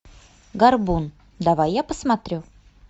горбун давай я посмотрю